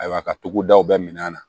Ayiwa ka togo daw bɛɛ minɛ an na